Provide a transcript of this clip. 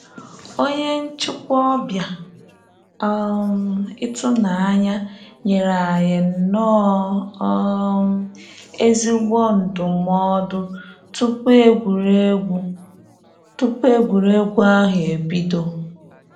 Onye nchịkwa ọbịa um ịtụnanya nyere anyị nnọọ um ezigbo ndụmọdụ tupu egwuregwu tupu egwuregwu ahụ ebido